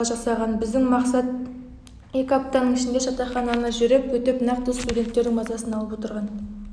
шала-пала жасаған біздің мақсат екі аптаның ішінде жатақхананы жүріп өтіп нақты студенттердің мазасын алып отырған